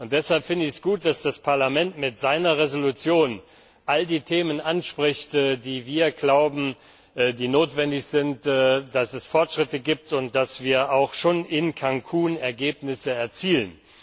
Deshalb finde ich es gut, dass das Parlament mit seiner Resolution all die Themen anspricht, die wir glauben, die notwendig sind, dass es Fortschritte gibt, und dass wir schon in Cancún Ergebnisse erzielen.